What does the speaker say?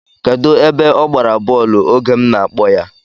Kedu ebe ọ gbara bọọlụ oge m na-akpọ ya?